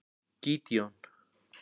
Gídeon